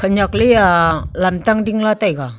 khanyak lea lantang dingla taiga.